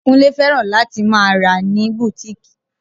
Kúnlé fẹ́ràn láti máa rà ní bùtíkìì